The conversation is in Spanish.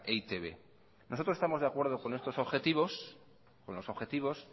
e i te be nosotros estamos de acuerdo con estos objetivos